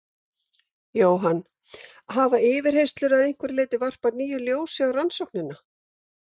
Jóhann: Hafa yfirheyrslur að einhverju leyti varpað nýju ljósi á rannsóknina?